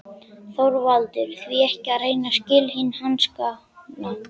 ÞORVALDUR: Því ekki að reyna silkihanskana.